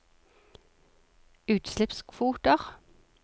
utslippskvoter